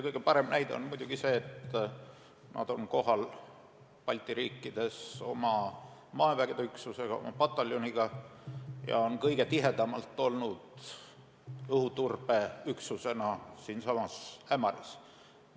Kõige parem näide on muidugi see, et nad on Balti riikides oma maavägede üksusega, oma pataljoniga kohal ja on kõige tihedamalt olnud õhuturbeüksusega siinsamas Ämaris.